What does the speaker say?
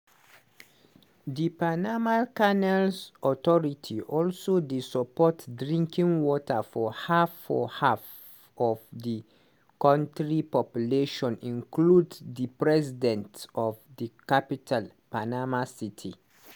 di panama canals authority also dey support drinking water for half for half of di kontri population include di resident of di capital panama city.